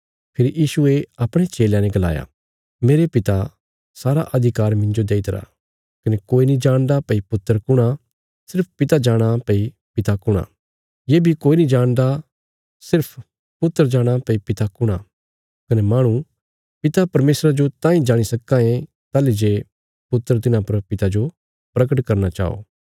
फेरी यीशुये अपणे चेलयां ने गलाया मेरे पिता सारा अधिकार मिन्जो देई दित्तिरा कने कोई नीं जाणदा भई पुत्र कुण आ सिर्फ पिता जाणां भई पिता कुण आ ये बी कोई नीं जाणदा सिर्फ पुत्र जाणा भई पिता कुण आ कने माहणु पिता परमेशरा जो तांई जाणी सक्कां ये ताहली जे पुत्र तिन्हां पर पिता जो परगट करना चाये